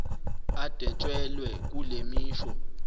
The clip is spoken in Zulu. adwetshelwe kule misho